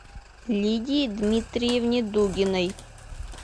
лидии дмитриевне дугиной